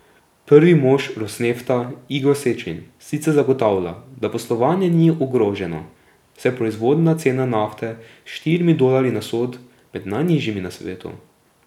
Prvi mož Rosnefta Igor Sečin sicer zagotavlja, da poslovanje ni ogroženo, saj je proizvodna cena nafte s štirimi dolarji na sod med najnižjimi na svetu.